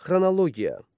Xronologiya.